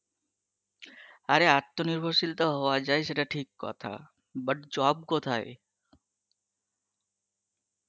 আরে আত্মনির্ভরশীল তো হওয়া যায় সে টা ঠিক কথা, but job কোথায়?